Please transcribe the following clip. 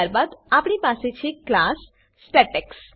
ત્યારબાદ આપણી પાસે છે ક્લાસ સ્ટેટેક્સ